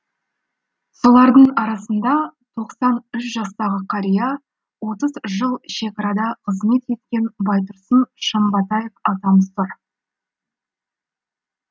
солардың арасында тоқсан үш жастағы қария отыз жыл шекарада қызмет еткен байтұрсын шымбатаев атамыз тұр